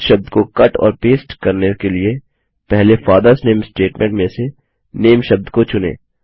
इस शब्द को कट और पेस्ट करने के लिए पहले फादर्स नामे स्टेटमेंट में से नामे शब्द को चुनें